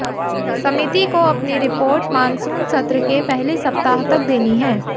समिति को अपनी रिपोर्ट मानसून सत्र के पहले सप्ताह तक देनी है